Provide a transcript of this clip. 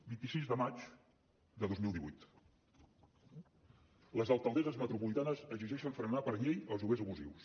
vint sis de maig de dos mil divuit les alcaldesses metropolitanes exigeixen frenar per llei els lloguers abusius